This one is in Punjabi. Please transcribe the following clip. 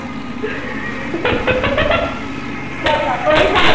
ਚੱਲ ਦੱਸ ਤੂੰ